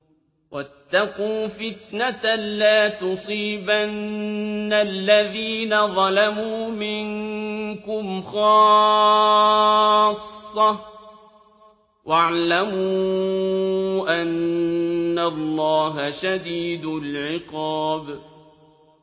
وَاتَّقُوا فِتْنَةً لَّا تُصِيبَنَّ الَّذِينَ ظَلَمُوا مِنكُمْ خَاصَّةً ۖ وَاعْلَمُوا أَنَّ اللَّهَ شَدِيدُ الْعِقَابِ